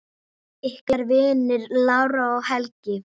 Ykkar vinir, Lára og Helgi.